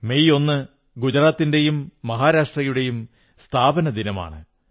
May 1 ഗുജറാത്തിന്റെയും മഹാരാഷ്ട്രയുടെയും സ്ഥാപക ദിനമാണ്